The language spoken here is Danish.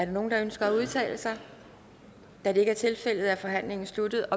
nogen der ønsker at udtale sig da det ikke er tilfældet er forhandlingen sluttet